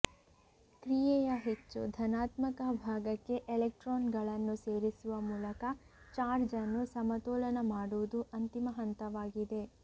ಕ್ರಿಯೆಯ ಹೆಚ್ಚು ಧನಾತ್ಮಕ ಭಾಗಕ್ಕೆ ಎಲೆಕ್ಟ್ರಾನ್ಗಳನ್ನು ಸೇರಿಸುವ ಮೂಲಕ ಚಾರ್ಜ್ ಅನ್ನು ಸಮತೋಲನ ಮಾಡುವುದು ಅಂತಿಮ ಹಂತವಾಗಿದೆ